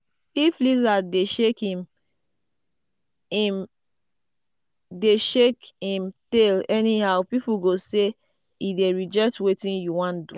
if lizard dey shake im dey shake im tail anyhow people go say e dey reject wetin you wan do.